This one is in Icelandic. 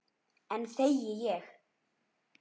Enn þegi ég.